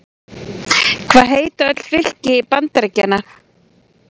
Hvað heita öll fylki Bandaríkjanna?